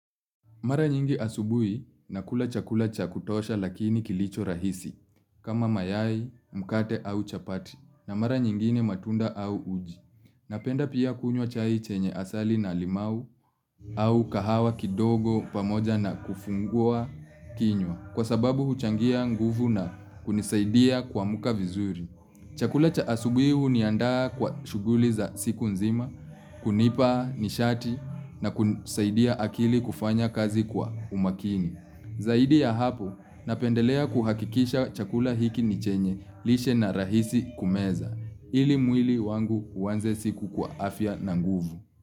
Mara nyingi asubuhi nakula chakula cha kutosha lakini kilicho rahisi kama mayai, mkate au chapati na mara nyingine matunda au uji. Napenda pia kunywa chai chenye asali na limau au kahawa kidogo pamoja na kufungua kinywa, kwa sababu huchangia nguvu na kunisaidia kuamka vizuri. Chakula cha asubuhi huniandaa kwa shughuli za siku nzima, kunipa nishati na kusaidia akili kufanya kazi kwa umakini. Zaidi ya hapo, napendelea kuhakikisha chakula hiki ni chenye lishe na rahisi kumeza, ili mwili wangu uanze siku kwa afya na nguvu.